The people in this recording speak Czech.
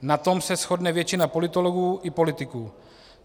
Na tom se shodne většina politologů i politiků.